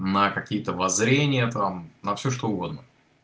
на какие-то воззрения там на все что угодно